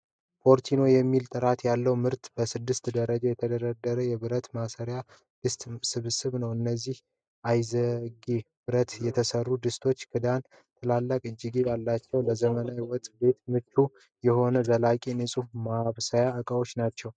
ፎርቲኖ የሚባል፣ ጥራት ያለው ምርት በስድስት ደረጃዎች የተደረደረ የብረት ማብሰያ ድስት ስብስብ ነው። እነዚህ አይዝጌ ብረት የተሠሩ ድስቶች ክዳንና ትላልቅ እጀታዎች አሏቸው። ለዘመናዊ ወጥ ቤት ምቹ የሆኑ ዘላቂና ንፁህ ማብሰያ ዕቃዎች ናቸው።